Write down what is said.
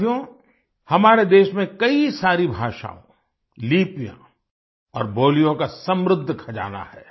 साथियो हमारे देश में कई सारी भाषा लिपियाँ और बोलियों का समृद्ध खजाना है